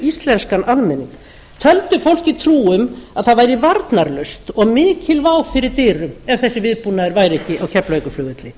íslenskan almenning töldu fólki trú um að það væri varnarlaust og mikil vá fyrir dyrum ef þessi viðbúnaður væri ekki á keflavíkurflugvelli